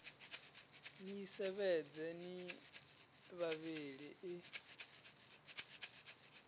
ni sevhedza ni vhavhili i